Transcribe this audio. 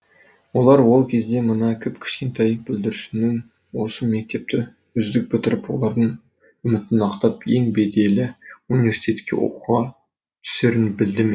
олар ол кезде мына кіп кішкентай бүлдіршіннің осы мектепті үздік бітіріп олардың үмітін ақтап ең беделі университетке оқуға түсерін білді ме